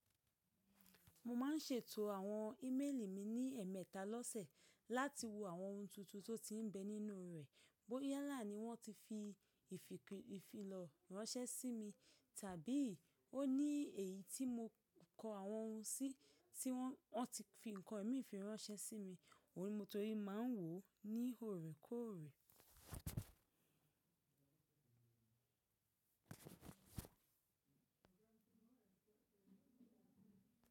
Mo máa ń ṣètò àwọn íméèlì mi ní ẹ̀ẹ̀mẹta lọ́sẹ̀ láti wo àwọn ohun tuntun tó ti ń bẹ nínú rẹ̀ bóyá là ní wọ́n ti fi ìfilọ́ ránṣẹ́ sí mi, tàbí ó ní èyí tí mo kọ àwọn ohun sí tí wọ́n ti fi nǹkan mi fi ránṣẹ́ sí mi. Ohun ni mo torí máa ń wò ó ní òòrèkóòrè.